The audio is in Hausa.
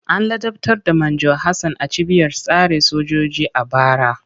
An ladabtar da Manjo Hassan a cibiyar tsare sojoji a bara.